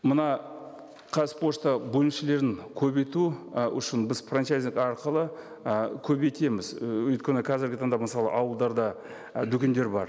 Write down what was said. мына қазпошта бөлімшелерін көбейту і үшін біз франчайзинг арқылы і көбейтеміз і өйткені қазіргі таңда мысалы ауылдарда і дүкендер бар